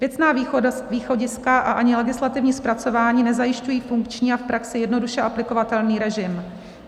Věcná východiska a ani legislativní zpracování nezajišťují funkční a v praxi jednoduše aplikovatelný režim.